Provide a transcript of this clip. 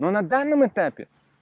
но на данном этапе